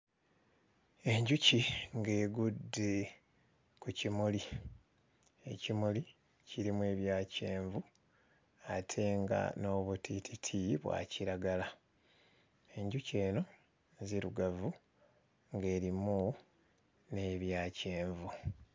Enjuki ng'egudde ku kimuli. Ekimuli kirimu ebya kyenvu ate nga n'obutiititi bwa kiragala. Enjuki eno nzirugavu ng'erimu n'ebya kyenvu.